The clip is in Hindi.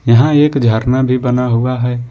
यहां एक झरना भी बना हुआ है।